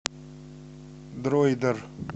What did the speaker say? дройдер